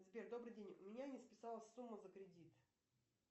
сбер добрый день у меня не списалась сумма за кредит